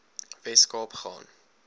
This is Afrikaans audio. wes kaap gaan